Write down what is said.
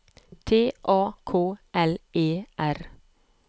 T A K L E R